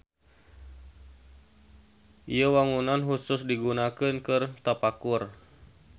Ieu wangunan husus digunakeun keur tapakur.